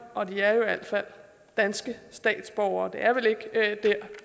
og de er jo i hvert fald danske statsborgere vi er vel ikke